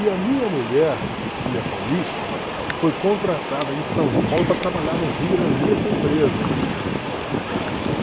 E a minha mulher, que é paulista, foi contratada em São Paulo para trabalhar no Rio na mesma empresa.